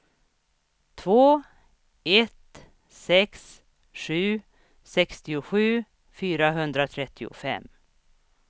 två ett sex sju sextiosju fyrahundratrettiofem